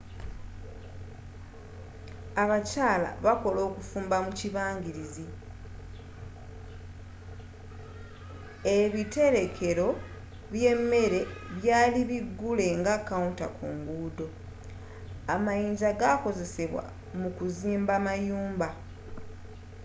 abakyala bakola okufumba mu kibangirizi ebiterekelo by'emere byali bigule nga counter ku ngudo amayinja gakozesebwa mu kuzimba mayumba